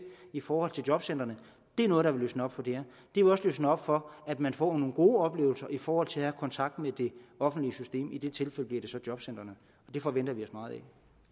i forhold til jobcentrene er noget der vil løsne op for det her det vil også løsne op for at man får nogle gode oplevelser i forhold til at have kontakt med det offentlige system i de tilfælde bliver det så jobcentrene det forventer vi os meget af